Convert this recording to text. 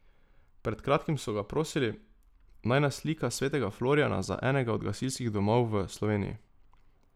Pred kratkim so ga prosili, naj naslika svetega Florijana za enega od gasilskih domov v Sloveniji.